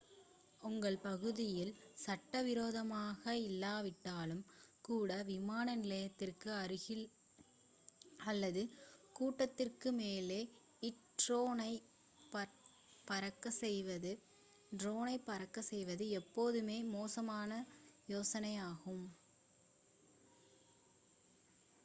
உங்கள் பகுதியில் சட்டவிரோதமானதாக இல்லாவிட்டாலும் கூட விமான நிலையத்திற்கு அருகில் அல்லது ஒரு கூட்டத்திற்கு மேல் ட்ரோனைப் பறக்கச் செய்வது எப்போதுமே மோசமான யோசனையாகும்